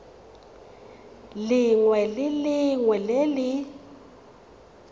lengwe le lengwe le le